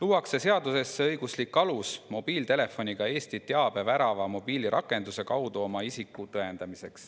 Seadusesse luuakse õiguslik alus mobiiltelefoniga Eesti teabevärava mobiilirakenduse kaudu oma isikut tõendada.